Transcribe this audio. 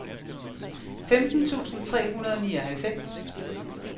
femten tusind tre hundrede og nioghalvfems